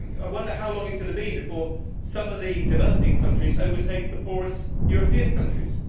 I wonder how long it is going to be before some of the developing countries overtake the poorest European countries.